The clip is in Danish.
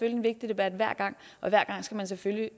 en vigtig debat hver gang og hver gang skal man selvfølgelig